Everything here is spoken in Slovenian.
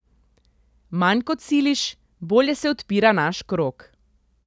Manj kot siliš, bolje se odpira naš krog.